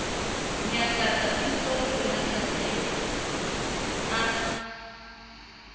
nyahlatsa pistolo le mahlahlelo a